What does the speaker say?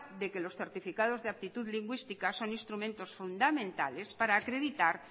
de que los certificados de aptitud lingüística son instrumentos fundamentales para acreditar